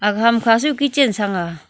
aga kam kha su kitchen sang ga.